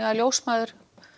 að ljósmæður